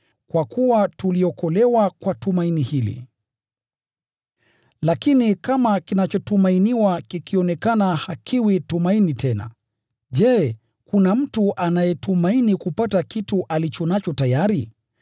Kwa kuwa tuliokolewa kwa tumaini hili. Lakini kama kinachotumainiwa kikionekana hakiwi tumaini tena. Je, kuna mtu anayetumaini kupata kitu alicho nacho tayari?